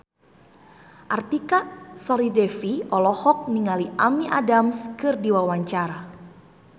Artika Sari Devi olohok ningali Amy Adams keur diwawancara